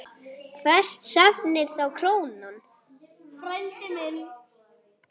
Hvert stefnir þá krónan?